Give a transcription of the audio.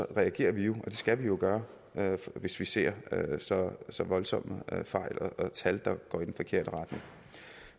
reagerer vi jo og det skal vi jo gøre hvis vi ser så så voldsomme fejl og tal der går i den forkerte retning